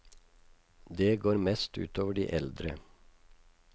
Det går mest ut over eldre.